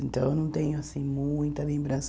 Então eu não tenho, assim, muita lembrança.